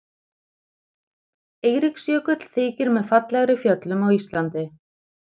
Eiríksjökull þykir með fallegri fjöllum á Íslandi.